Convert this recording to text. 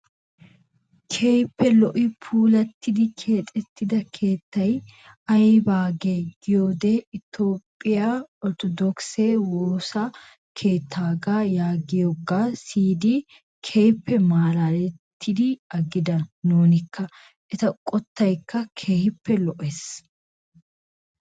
Keehippe lo"i puulattidi keexettida keettay aybaagee giyoode itoophphiyaa orttodokise woosa keettaagaa yaagiyoogaa siyidi keehippe malalettidi agida nunikka. Eta qottaykka keehippe lo"ees.